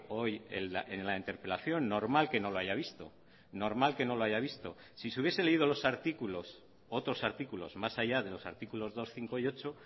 hoy en la interpelación normal que no lo haya visto normal que no lo haya visto si se hubiese leído los artículos otros artículos más allá de los artículos dos cinco y ocho